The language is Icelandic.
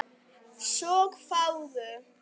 Svo fáguð.